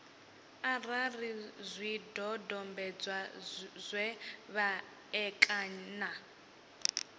arali zwidodombedzwa zwe vha ṋekana